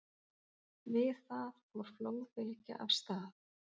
Við það fór flóðbylgja af stað.